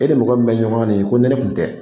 E ni mɔgɔ mun be ɲɔgɔn na nin ye, ko ni ne kun tɛ